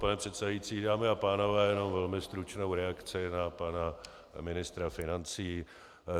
Pane předsedající, dámy a pánové, jenom velmi stručnou reakci na pana ministra financí.